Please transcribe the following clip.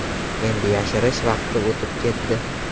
Endi yashirish vaqti o‘tib ketdi.